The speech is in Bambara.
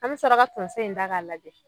An mi sɔrɔ ka tonso in da k'a lajɛ